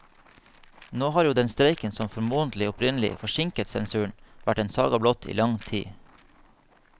Nå har jo den streiken som formodentlig opprinnelig forsinket sensuren, vært en saga blott i lang tid.